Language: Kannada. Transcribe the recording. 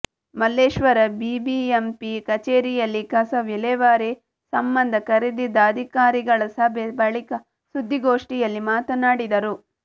ಮಲ್ಲೇಶ್ವರ ಬಿಬಿಎಂಪಿ ಕಚೇರಿಯಲ್ಲಿ ಕಸ ವಿಲೇವಾರಿ ಸಂಬಂಧ ಕರೆದಿದ್ದ ಅಧಿಕಾರಿಗಳ ಸಭೆ ಬಳಿಕ ಸುದ್ದಿಗೋಷ್ಠಿಯಲ್ಲಿ ಮಾತನಾಡಿದರು